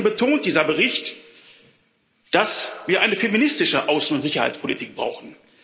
Außerdem betont dieser Bericht, dass wir eine feministische Außen und Sicherheitspolitik brauchen.